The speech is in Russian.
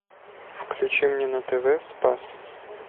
включи мне на тв спас